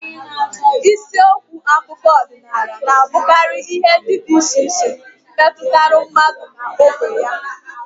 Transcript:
Isiokwu akụkọ ọdịnala na-abụkarị ihe ndị dị iche iche metụtara mmadụ na ógbè ya